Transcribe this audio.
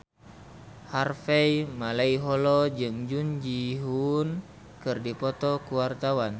Harvey Malaiholo jeung Jun Ji Hyun keur dipoto ku wartawan